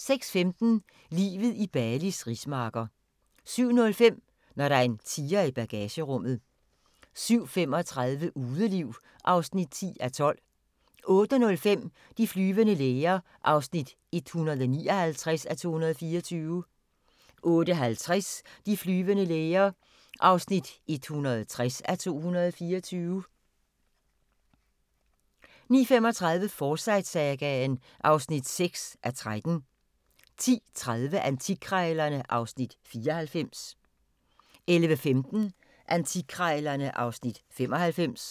06:15: Livet i Balis rismarker 07:05: Når der er en tiger i bagagerummet 07:35: Udeliv (10:12) 08:05: De flyvende læger (159:224) 08:50: De flyvende læger (160:224) 09:35: Forsyte-sagaen (6:13) 10:30: Antikkrejlerne (Afs. 94) 11:15: Antikkrejlerne (Afs. 95)